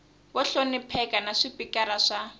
vo hlonipheka na swipikara swa